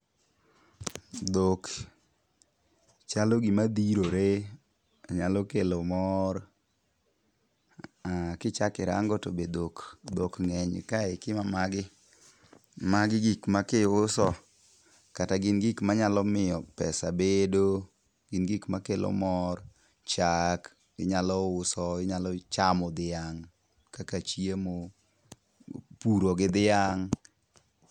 Dhok chalo gimadhirore ,nyalo kelo mor . Kichako irango to be dhok ng'eny kae, kiwe magi ,magi gik ma kiuso kata gin gik manyalo miyo pesa bedo. Gin gik makelo mor, chak inyalo uso, inyalo chamo dhiang' kaka chiemo, puro gi dhiang'.